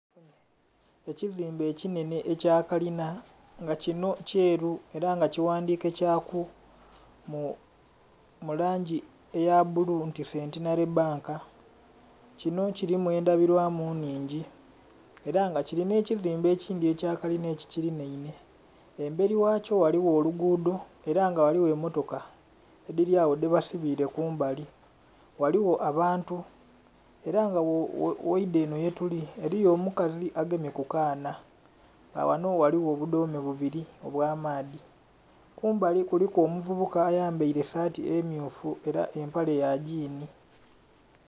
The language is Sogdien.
Ekizimbe ekinhenhe ekya kalina nga kino kyeru era nga kighandhiike kyaku mu langi eya bbulu nti Centenary Bank. Kino kirimu endhabilwamu nnhingi era nga kiri n'ekizimbe ekindhi ekya kalina ekikilinainhe, emberi ghakyo ghaliwo oluguudo era nga ghaliwo emmotoka edhiri agho dhebasibiire kumbali. Ghaliwo abantu era nga bwoidha enho yetuli eliyo omukazi agemye ku kaana nga ghano ghaliwo obudhoome bubiri obw'amaadhi, kumbali kuliku omuvubuka ayambaire saati emmyufu era empale ya gyiini